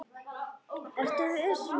Ertu viss um þetta?